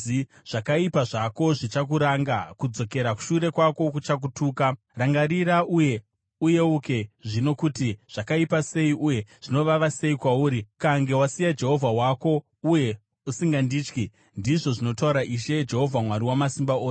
Zvakaipa zvako zvichakuranga; kudzokera shure kwako kuchakutuka. Rangarira uye uyeuke zvino kuti zvakaipa sei uye zvinovava sei kwauri, ukange wasiya Jehovha Mwari wako, uye usingandityi,” ndizvo zvinotaura Ishe, Jehovha Wamasimba Ose.